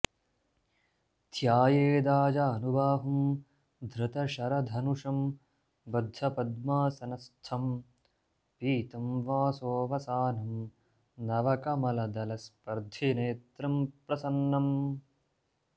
ध्यायेदाजानुबाहुं धृतशरधनुषं बद्धपद्मासनस्थं पीतं वासो वसानं नवकमलदलस्पर्द्धिनेत्रं प्रसन्नम्